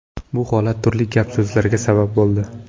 Bu holat turli gap-so‘zlarga sabab bo‘ldi.